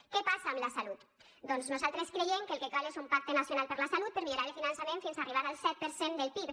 què passa amb la salut doncs nosaltres creiem que el que cal és un pacte nacional per a la salut per millorar el finançament fins a arribar al set per cent del pib